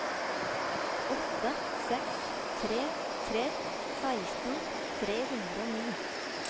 åtte seks tre tre seksten tre hundre og ni